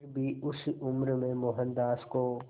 फिर भी उस उम्र में मोहनदास को